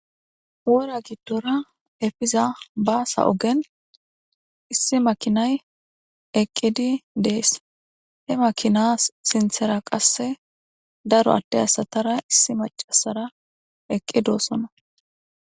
Wora giddora efiza baasa ogen issi makinay eqqidi dees he makinas sinthera qasse daro atte asatara issi macasara eqqidoossona